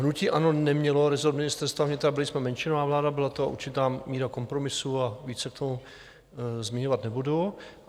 Hnutí ANO nemělo rezort Ministerstva vnitra, byli jsme menšinová vláda, byla tam určitá míra kompromisů a více k tomu zmiňovat nebudu.